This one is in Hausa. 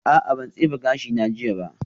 A'a ban tsefe gashina jiya ba